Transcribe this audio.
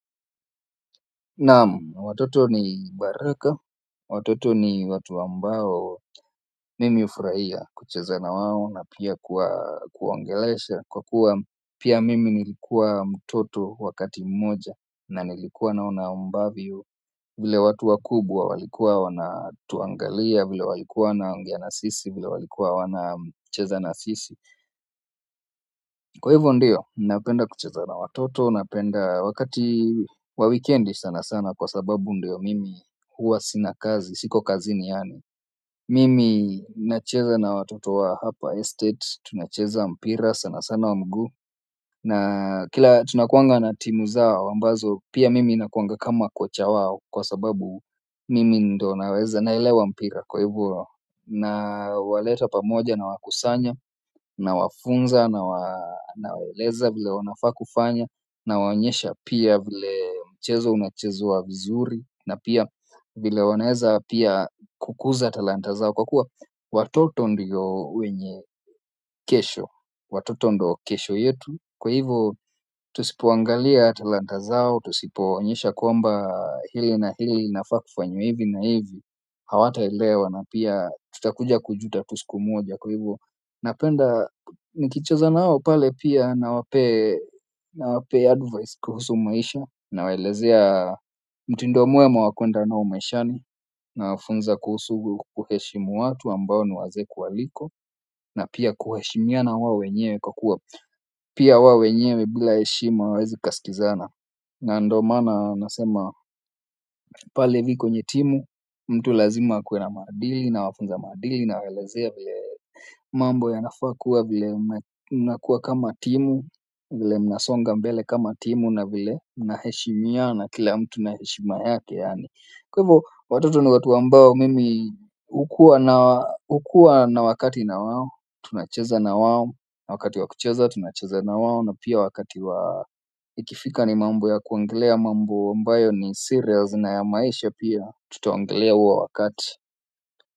Naam, watoto ni baraka, watoto ni watu ambao mimi hufurahia kucheza na wao na pia kuwaongelesha kwa kuwa pia mimi nilikuwa mtoto wakati mmoja na nilikuwa naona ambavyo vile watu wakubwa walikuwa wanatuangalia, vile walikuwa wanaongea na sisi, vile walikuwa wanacheza na sisi kwa hivyo ndiyo, napenda kucheza na watoto, napenda wakati wa wikendi sana sana kwa sababu ndio mimi huwa sina kazi, siko kazini yaani mimi nacheza na watoto wa hapa estate, tunacheza mpira sana sana wa mguu na kila tunakuanga na timu zao, ambazo pia mimi nakuanga kama kocha wao kwa sababu mimi ndio naweza naelewa mpira kwa hivyo nawaleta pamoja nawakusanya. Nawafunza nawaeleza vile wanafaa kufanya. Nawaonyesha pia vile mchezo unachezwa vizuri na pia vile wanaeza pia kukuza talanta zao kwa kuwa watoto ndio wenye kesho watoto ndio kesho yetu kwa hivyo tusipoangalia talanta zao, tusipowaonyesha kwamba hili na hili linafaa kufanywa hivi na hivi, hawataelewa na pia tutakuja kujuta tu siku moja. Kwa hivyo napenda nikicheza na wao pale pia nawapee nawapee advice kuhusu maisha. Nawaelezea mtindo mwema wa kuenda nao maishani. Nawafunza kuhusu kuheshimu watu ambao ni wazee kuwaliko na pia kuheshimiana wao wenyewe kwa kuwa pia wao wenyewe bila heshima hawezi kasikizana na ndio maana nasema pale hivi kwenye timu mtu lazima akuwe na maadili nawafunza maadili nawaelezea vile mambo yanafaa kuwa vile mnakuwa kama timu vile mnasonga mbele kama timu na vile mnaheshimiana kila mtu na heshima yake yaani kwa hivo watoto ni watu ambao mimi hukua na wakati na wao tunacheza na wao, na wakati wa kucheza tunacheza na wao na pia wakati wa ikifika ni mambo ya kuongelea mambo ambayo ni serious na ya maisha pia. Tutaongelea huo wakati.